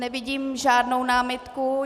Nevidím žádnou námitku.